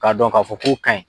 K'a dɔn k'a fɔ k'o kaɲi